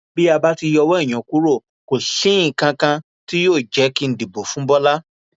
bí a bá ti yọwọ ìyẹn kúrò kò sí nǹkan kan tí yóò jẹ kí n dìbò fún bọlá